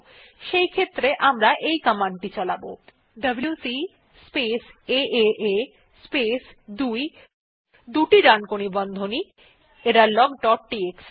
সেক্ষেত্রে আমরা এই কমান্ড টি চালাব ডব্লিউসি স্পেস এএ স্পেস 2 দুটি ডানকোণী বন্ধনী এররলগ ডট টিএক্সটি